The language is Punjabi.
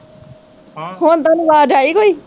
ਹਮ ਹੁਣ ਤੁਹਾਨੂੰ ਆਵਾਜ਼ ਆਈ ਕੋਈ